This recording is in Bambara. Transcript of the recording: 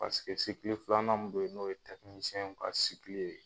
paseke sikili filanan min be yen n'oye tɛkinisɛn basikili ye